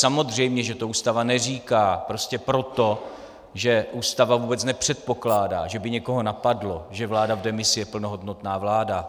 Samozřejmě že to Ústava neříká, prostě proto, že Ústava vůbec nepředpokládá, že by někoho napadlo, že vláda v demisi je plnohodnotná vláda.